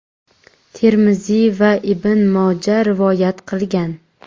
Termiziy va Ibn Moja rivoyat qilgan.